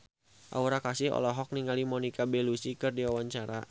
Aura Kasih olohok ningali Monica Belluci keur diwawancara